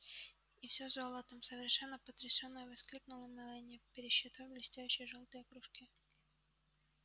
и всё золотом совершенно потрясённая воскликнула мелани пересчитав блестящие жёлтые кружки